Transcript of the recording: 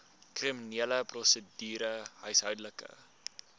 kriminele prosedure huishoudelike